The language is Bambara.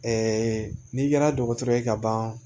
Ɛɛ n'i kɛra dɔgɔtɔrɔ ye ka ban